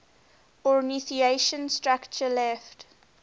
ornithischian structure left